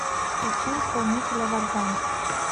включи исполнителя вардан